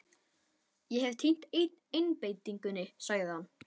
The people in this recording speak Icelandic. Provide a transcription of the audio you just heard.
Ég hef týnt einbeitingunni, sagði hann.